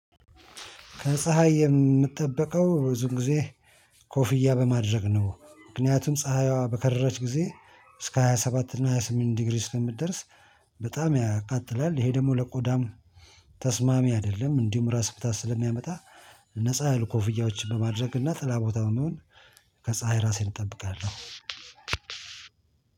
ከፀሀይ የምትጠብቀው ብዙ ጊዜ ኮፍያ በማድረግ ነው ምክንያቱም ፀሀይዋ በከረረች ጊዜ እስከ ሃያ ሰባት እና ሃያ ስምንት ዲግሪ ስለምትደርስ በጣም ያቃጥላል። ይሄ ደግሞ ለቆዳም ተስማሚ አይደለም። እንዲሁም ራስ ምታት ስለሚያመጣ ነፃ ያሉ ኮፍያዎችን በማድረግ እና ጥላ ቦታው መሆን ከፀሀይ ራሴን እጠብቃለሁ።